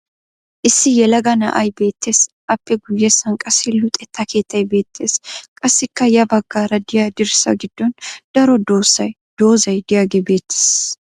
Issi yelaga na"ay beettes. Appe guyyessan qassi luxetta keettay beettes. Qassikka ya baggaara diya dirssa giddon daro dozzay diyagee beettees.